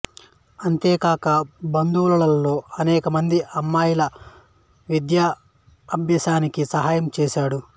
అంతేకాక బంధువులలో అనేక మంది అమ్మాయిల విద్యాభ్యాసానికి సహాయం చేశాడు